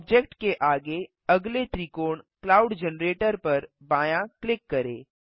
object के आगे अगले त्रिकोण क्लाउड जनरेटर पर बायाँ क्लिक करें